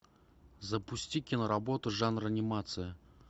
запусти киноработу жанр анимация